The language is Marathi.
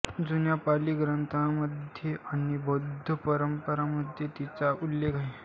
जुन्या पाली ग्रंथांमध्ये आणि बौद्ध परंपरांमध्ये तिचा उल्लेख आहे